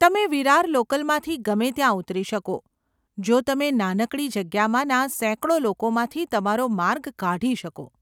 તમે વિરાર લોકલમાંથી ગમે ત્યાં ઉતરી શકો, જો તમે નાનકડી જગ્યામાંના સેંકડો લોકોમાંથી તમારો માર્ગ કાઢી શકો.